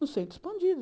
no centro expandido.